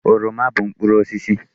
Oroma bụ mkpụrụ osisi.